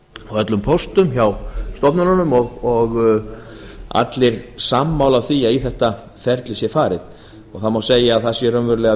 öllum póstum hjá stofnunum og allir eru sammála því að í þetta ferli sé farið með frumvarpinu má segja að